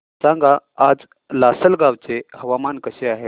सांगा आज लासलगाव चे हवामान कसे आहे